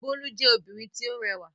Bólú jẹ́ obìnrin tí ó rẹwà.